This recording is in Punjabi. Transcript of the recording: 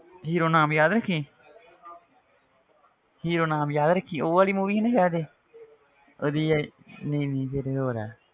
Hero ਨਾਮ ਯਾਦ ਰੱਖੀਂ hero ਨਾਮ ਯਾਦ ਰੱਖੀਂ, ਉਹ ਵਾਲੀ movie ਸੀ ਨਾ ਸ਼ਾਇਦ ਇਹ ਉਹ ਦੀ ਇਹ ਨਹੀਂ ਨਹੀਂ ਫਿਰ ਇਹ ਹੋਰ ਹੈ,